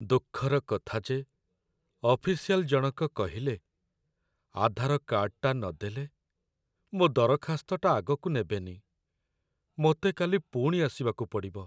ଦୁଃଖର କଥା ଯେ ଅଫିସିଆଲ୍ ଜଣକ କହିଲେ ଆଧାର କାର୍ଡ଼୍‌ଟା ନଦେଲେ, ମୋ' ଦରଖାସ୍ତଟା ଆଗକୁ ନେବେନି । ମତେ କାଲି ପୁଣି ଆସିବାକୁ ପଡ଼ିବ ।